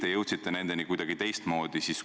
Või jõudsite nendeni kuidagi teistmoodi?